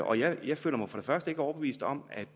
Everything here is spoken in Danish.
og jeg føler mig for det første ikke overbevist om at